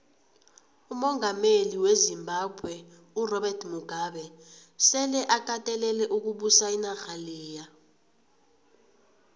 umongameli wezimbabwe urobert mugabe sele akatelele ukubusa inarha leya